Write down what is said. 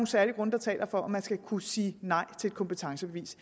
særlige grunde der taler for at man skal kunne sige nej til et kompetencebevis